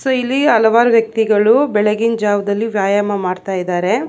So ಇಲ್ಲಿ ಹಲವಾರು ವ್ಯಕ್ತಿಗಳು ಬೆಳಗಿನ ಜಾವದಲ್ಲಿ ವ್ಯಾಯಾಮ ಮಾಡ್ತಾ ಇದ್ದಾರೆ.